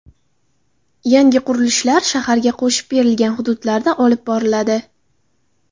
Yangi qurilishlar shaharga qo‘shib berilgan hududlarda olib boriladi .